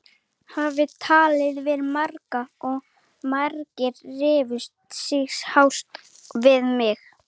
Hafði talað við marga og margir rifu sig hása við mig.